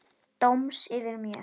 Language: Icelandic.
Dóms yfir mér.